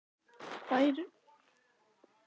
Væri nú ekki tími til kominn að stöðva þetta athæfi?